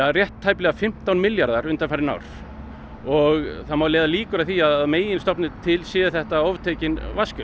rétt tæplega fimmtán milljarðar undanfarin ár og það má leiða líkur að því að að meginstofni til séu þetta oftekin vatnsgjöld